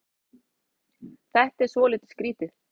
Þetta er svolítið skrítið.